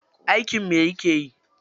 Aikin me yake yi?